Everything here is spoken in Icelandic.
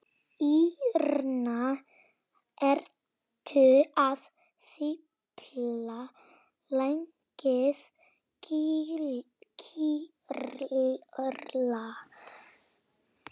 Írena, kanntu að spila lagið „Grýla“?